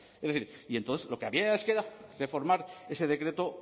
es decir y entonces lo que había les queda reformar ese decreto